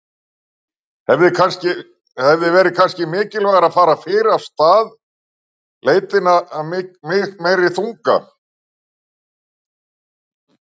Lillý: Hefði verið kannski mikilvægara að fara fyrr af stað leitina af meiri þunga?